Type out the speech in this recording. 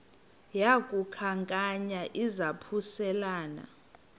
yaku khankanya izaphuselana